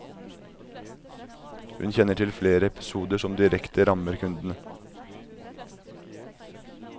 Hun kjenner til flere episoder som direkte rammer kundene.